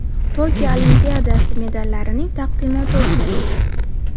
Tokio Olimpiadasi medallarining taqdimoti o‘tkazildi.